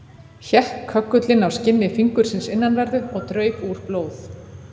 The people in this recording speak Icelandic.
Hékk köggullinn á skinni fingursins innanverðu, og draup úr blóð.